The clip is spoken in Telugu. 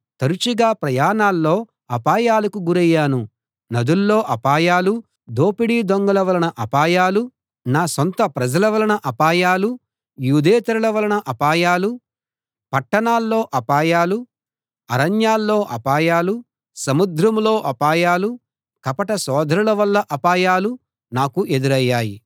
తరచుగా ప్రయాణాల్లో అపాయాలకు గురయ్యాను నదుల్లో అపాయాలూ దోపిడీ దొంగల వలన అపాయాలూ నా సొంత ప్రజల వలన అపాయాలూ యూదేతరుల వలన అపాయాలూ పట్టణాల్లో అపాయాలూ అరణ్యాల్లో అపాయాలూ సముద్రంలో అపాయాలూ కపట సోదరుల వల్ల అపాయాలూ నాకు ఎదురయ్యాయి